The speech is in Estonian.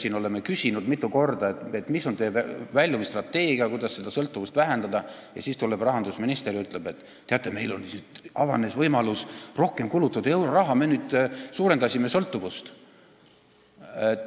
Me oleme küsinud mitu korda, mis on väljumisstrateegia, kuidas seda sõltuvust vähendada, ning siis tuleb rahandusminister ja ütleb, et teate, meil on avanenud võimalus rohkem euroraha kulutada, me nüüd suurendasime sõltuvust.